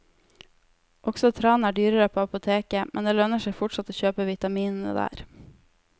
Også tran er dyrere på apoteket, men det lønner seg fortsatt å kjøpe vitaminene der.